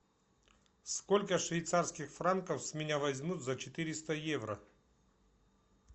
сколько швейцарских франков с меня возьмут за четыреста евро